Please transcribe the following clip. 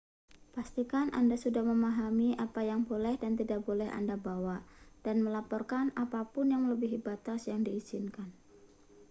pastikan anda sudah memahami apa yang boleh dan tidak boleh anda bawa dan melaporkan apa pun yang melebihi batas yang diizinkan